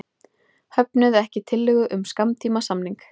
Höfnuðu ekki tillögu um skammtímasamning